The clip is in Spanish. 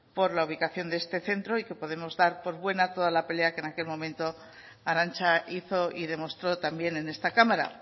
por la ubicación de este centro y que podemos dar por buena toda la pelea que en aquel momento arantxa hizo y demostró también en esta cámara